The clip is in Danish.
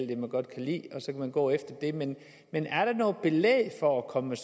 det man godt kan lide og så kan man gå efter det men men er der noget belæg for at komme med